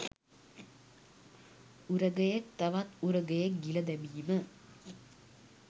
උරගයෙක් තවත් උරගයෙක් ගිල දැමීම